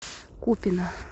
купино